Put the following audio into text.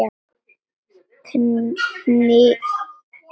Hniprar sig saman.